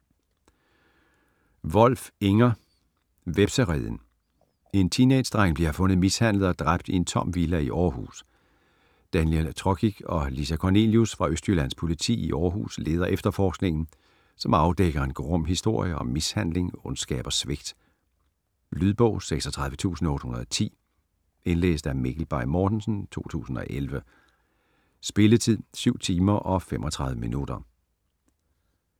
Wolf, Inger: Hvepsereden En teenagedreng bliver fundet mishandlet og dræbt i en tom villa i Århus. Daniel Trokic og Lisa Kornelius fra Østjyllands Politi i Århus leder efterforskningen, som afdækker en grum historie om mishandling, ondskab og svigt. Lydbog 36810 Indlæst af Mikkel Bay Mortensen, 2011. Spilletid: 7 timer, 35 minutter.